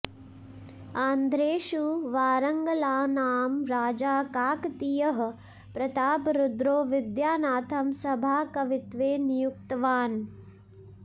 आन्ध्रेषु वारंगलानां राजा काकतीयः प्रतापरुद्रो विद्यानाथं सभाकवित्वे नियुक्तवान्